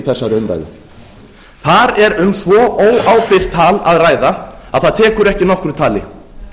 þessari umræðu þar er um svo óábyrgt tal að ræða að það tekur ekki nokkru tali